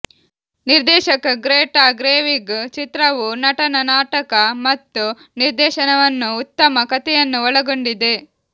ನಿರ್ದೇಶಕ Greta Gerwig ಚಿತ್ರವು ನಟನ ನಾಟಕ ಮತ್ತು ನಿರ್ದೇಶನವನ್ನು ಉತ್ತಮ ಕಥೆಯನ್ನು ಒಳಗೊಂಡಿದೆ